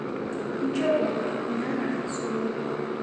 Injopo nanga surua